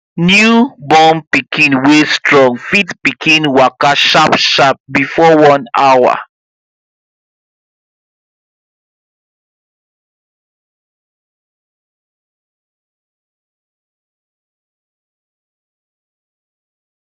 newborn pikin wey strong fit begin waka sharp sharp before one hour